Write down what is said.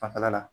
Fanfɛla la